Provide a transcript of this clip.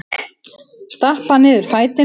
Stappa niður fætinum.